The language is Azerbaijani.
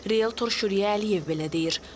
Realtör Şüriyə Əliyev belə deyir.